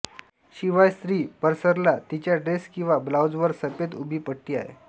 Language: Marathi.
शिवाय स्त्री परसरला तिच्या ड्रेस किंवा ब्लाऊज वर सफेद उभी पट्टी आहे